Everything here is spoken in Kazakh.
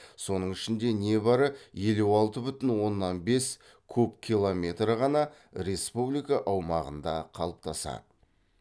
соның ішінде не бары елу алты бүтін оннан бес куб километрі ғана республика аумағында қалыптасады